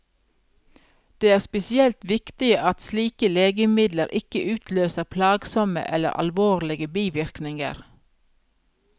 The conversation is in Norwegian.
Det er spesielt viktig at slike legemidler ikke utløser plagsomme eller alvorlige bivirkninger.